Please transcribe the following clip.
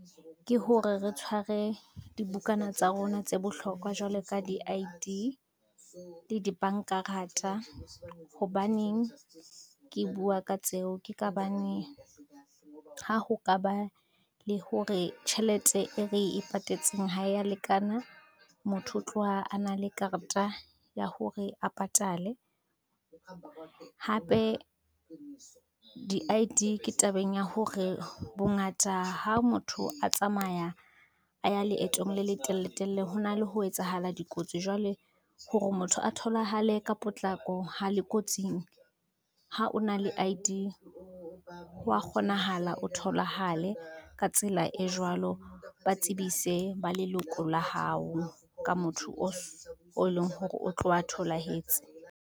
Ke hore re tshware dibukana tsa rona tse bohlokwa jwale ka di-I_D, le dibanka rata hobaneng, ke bua ka tseo ke ka baneng ha ho ka ba le hore tjhelete e re e patetseng ha e ya lekana motho o tloha a na le kareta ya hore a patale. Hape di-I_D ke tabeng ya hore bongata ha motho a tsamaya a ya leetong le letelletelle ho na le ho etsahala dikotsi, jwale hore motho a tholahale ka potlako ha le kotsing, ha o na le I_D hwa kgonahala o tholahale ka tsela e jwalo ba tsebise ba leloko la hao ka motho o so o leng hore o tlowa tholahetse.